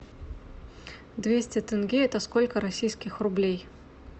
двести тенге это сколько российских рублей